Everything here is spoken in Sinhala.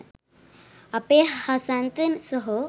අපේ හසන්ත සහො.